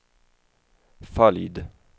följd